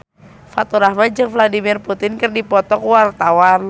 Faturrahman jeung Vladimir Putin keur dipoto ku wartawan